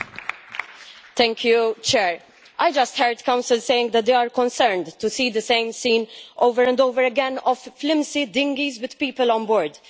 Mr President, I just heard the Council saying that they are concerned to see the same scene over and over again of flimsy dinghies with people on board.